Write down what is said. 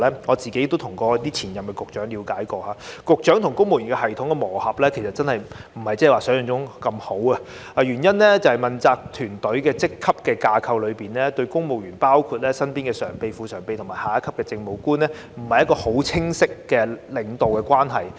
我個人也曾向前任局長了解，局長與公務員系統的磨合其實並非如想象中般好，原因是問責團隊在職級架構上，對公務員包括身邊的常任秘書長、副秘書長及下一級的政務官，沒有釐定一個很清楚的領導關係。